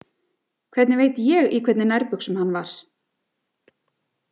Hvernig veit ég í hvernig nærbuxum hann var?